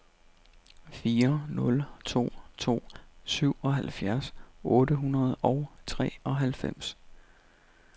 fire nul to to syvoghalvfjerds otte hundrede og treoghalvfems